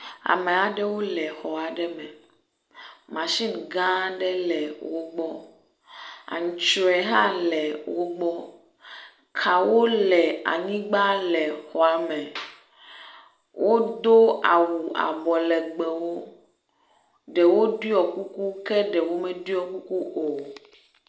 Ame aɖewo le xɔ aɖe me. Masini gã aɖe le wo gbɔ. Antrɔe hã le wo gbɔ. Kawo le anyigba le xɔ ame. Wodo awu abɔlegbewo. Ɖewo ɖɔ kuku ke ɖewo meɖɔ kuku o.